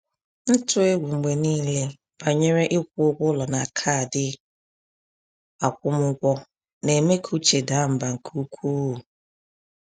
Ntụ egwu mgbe niile banyere ịkwụ ụgwọ ụlọ na kaadị akwụmụgwọ na-eme ka uche daa mbà nke ukwuu.